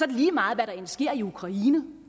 det lige meget hvad der end sker i ukraine